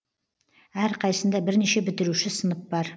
әрқайсысында бірнеше бітіруші сынып бар